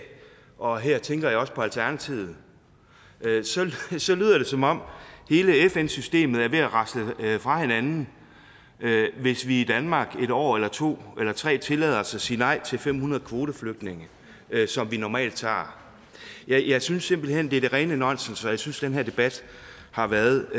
og her tænker jeg også på alternativet så lyder det som om hele fn systemet er ved at rasle fra hinanden hvis vi i danmark et år eller to eller tre tillader os at sige nej til fem hundrede kvoteflygtninge som vi normalt tager jeg synes simpelt hen det er det rene nonsens og jeg synes at den her debat har været